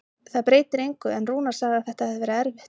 Það breytir engu, en Rúnar sagði að þetta hefði verið erfitt.